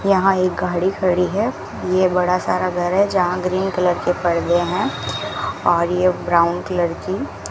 यहां एक गाड़ी खड़ी है ये बड़ा सारा घर है जहां ग्रीन कलर के पर्दे हैं और ये ब्राउन कलर की --